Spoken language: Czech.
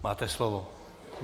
Máte slovo.